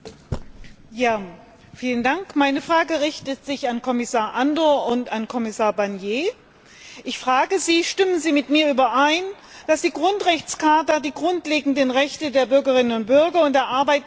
Meine Frage richtet sich an Kommissar Andor und an Kommissar Barnier Stimmen Sie mit mir überein, dass die Grundrechtecharta die grundlegenden Rechte der Bürgerinnen und Bürger und der Arbeitnehmerinnen und Arbeitnehmer enthält?